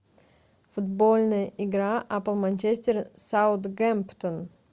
футбольная игра апл манчестер саутгемптон